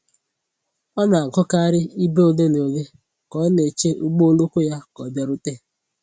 Ọ na-agụkarị ibe ole na ole ka ọ na-eche ụgbọ oloko ya ka ọ bịarute